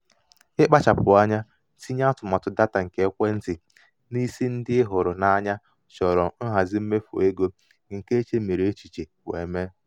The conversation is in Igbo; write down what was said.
ịkpachapụ anya tinye atụmatụ data nke ekwentị n'isi ndị ị hụrụ n'anya chọrọ nhazi mmefu ego nke e chemiri echiche wee mee.